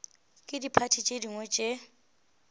ke diphathi tše dingwe tše